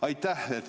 Aitäh!